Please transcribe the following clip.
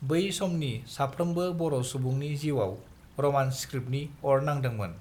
बै समनि साफ्रोमबो बरसुबुंनि जिउआव रमान स्क्रिप्टनि अर नांदोंमोन